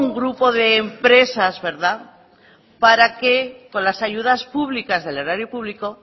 grupo de empresas verdad para que con las ayudas públicas del erario público